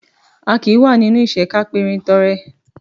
A kì í wà nínú ìṣẹ́ ká perin tọrẹ